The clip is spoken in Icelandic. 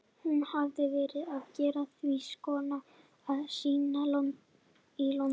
Hún hafði verið að gera því skóna að sýna í London.